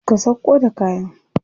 Ka sauƙo da kayan.